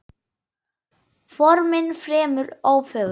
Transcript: Formin fremur ófögur.